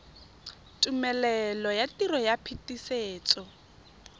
tumelelo ya tiro ya phetisetso